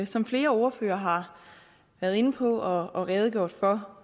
som flere ordførere har været inde på og og redegjort for